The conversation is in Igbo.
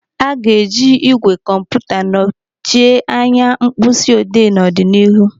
Aga eji igwè kọmputa nochie anya mkpịsị odee no ọdịnihu.